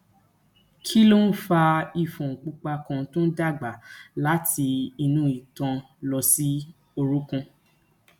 kí ló ń fa ifon pupa kan tó ń dàgbà láti inú itan lọ sí orunkun